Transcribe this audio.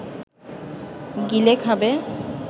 গিলে খাবে